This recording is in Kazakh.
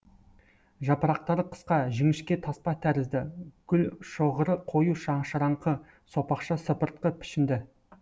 жапырақтары қысқа жіңішке таспа тәрізді гүлшоғыры қою шашыраңқы сопақша сыпыртқы пішінді